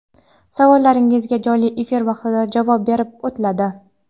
Savollaringizga jonli efir vaqtida javob berib o‘tiladi.